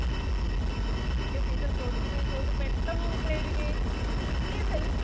എങ്കിൽ teacher ചോദിക്കുന്ന ഈ ചോദ്യത്തിന് പെട്ടന്ന് ഒന്ന് ഉത്തരം എഴുതിക്കേ ഇതിൽ